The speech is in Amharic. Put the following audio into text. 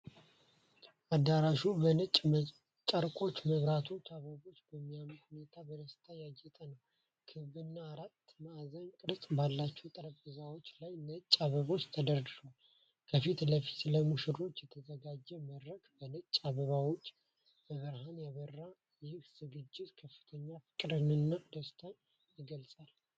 አዳራሹ በነጭ ጨርቆች፣ መብራቶችና አበቦች በሚያምር ሁኔታ በደስታ ያጌጠ ነው። ክብና አራት ማዕዘን ቅርጽ ባላቸው ጠረጴዛዎች ላይ ነጭ አበባዎች ተደርድረዋል። ከፊት ለፊት፣ ለሙሽሮች የተዘጋጀ መድረክ በነጭ አበባዎችና በብርሃን ያበራል። ይህ ዝግጅት ከፍተኛ ፍቅርንና ደስታን ይገልጻል።